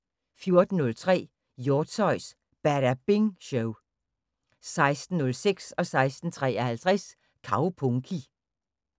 14:03: Hjortshøjs Badabing Show 16:06: Kaupunki 16:53: Kaupunki